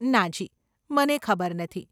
નાજી, મને ખબર નથી.